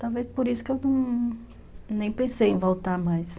Talvez por isso que eu nem pensei em voltar mais.